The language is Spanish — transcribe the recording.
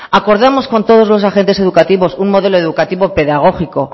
acordamos con todos los agentes educativos un modelo educativo pedagógico